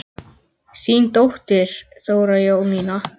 Þín dóttir, Þóra Jónína.